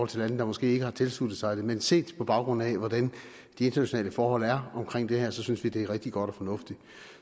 til lande der måske ikke har tilsluttet sig det men set på baggrund af hvordan de internationale forhold er her synes vi det er rigtig godt og fornuftigt